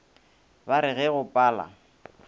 ba re ge go pala